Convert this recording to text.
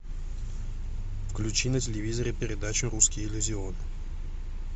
включи на телевизоре передачу русский иллюзион